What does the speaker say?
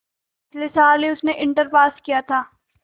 पिछले साल ही उसने इंटर पास किया था